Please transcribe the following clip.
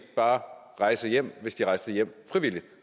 bare rejse hjem hvis de rejste hjem frivilligt